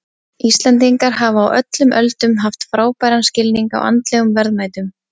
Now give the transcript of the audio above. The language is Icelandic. Íslendingar hafa á öllum öldum haft frábæran skilning á andlegum verðmætum.